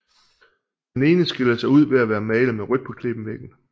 Den ene skiller sig ud ved at være malet med rødt på klippevæggen